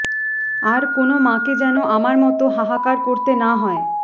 আর কোনো মাকে যেনো আমার মতো হাহাকার করতে না হয়